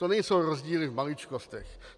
To nejsou rozdíly v maličkostech.